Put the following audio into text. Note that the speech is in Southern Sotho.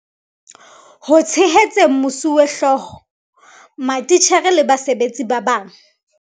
Ho tshehetseng mosuwehlooho, matitjhere le basebetsi ba bang.